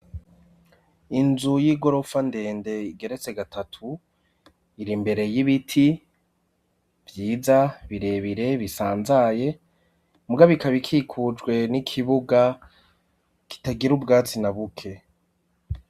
Inzu y'igorofa ndende igeretse gatatu ir'imbere y'ibiti vyiza birebire bisanzaye mugabo ikaba ikikujwe n'ikibuga kitagira ubwatsi na buke.